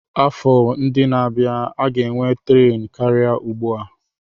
Afọ na-abịa, a ga-enwe tren karịa ugbu a.